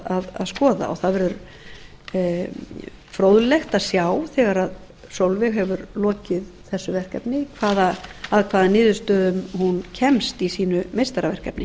áhugavert að skoða það verður fróðlegt að sjá þegar sólveig hefur lokið þessu verkefni að hvaða niðurstöðum hún kemst í sínu meistaraverkefni